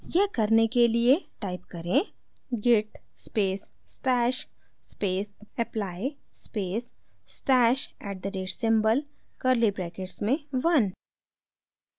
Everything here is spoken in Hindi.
यह करने के लिए type करें git space stash space apply space stash @ at the rate symbol curly brackets में 1